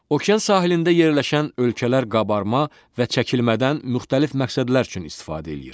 Okean sahilində yerləşən ölkələr qabarma və çəkilmədən müxtəlif məqsədlər üçün istifadə eləyir.